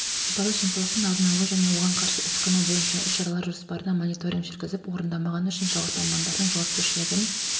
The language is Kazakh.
сыбайлас жемқорлықтың алдын алу және оған қарсы іс-қимыл бойынша іс-шаралар жоспарына мониторинг жүргізіп орындамағаны үшін жауапты мамандардың жауапкершілігін